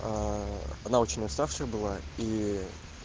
она очень уставшая была и